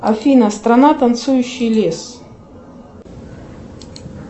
афина страна танцующий лес